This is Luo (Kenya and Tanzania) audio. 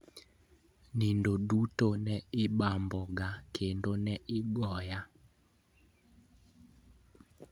Nindno duto ne ibamboga kendo ne igoya.